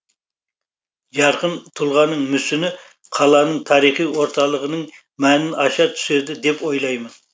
жарқын тұлғаның мүсіні қаланың тарихи орталығының мәнін аша түседі деп ойлаймын